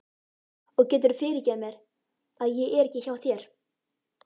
Og geturðu fyrirgefið mér að ég er ekki hjá þér?